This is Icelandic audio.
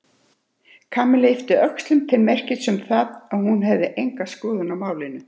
Kamilla yppti öxlum til merkis um það að hún hefði enga skoðun á málinu.